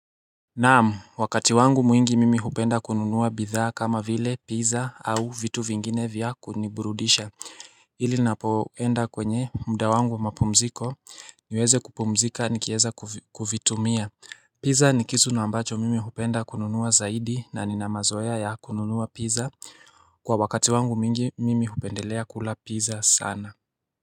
Naam wakati wangu mwingi mimi hupenda kununua bidhaa kama vile pizza au vitu vingine vya kuniburudisha ili ninapoenda kwenye muda wangu wa mapumziko niweze kupumzika nikieza kuvitumia Pizza ni kitu na ambacho mimi hupenda kununua zaidi na nina mazoea ya kununua pizza. Kwa wakati wangu mwingi mimi hupendelea kula pizza sana.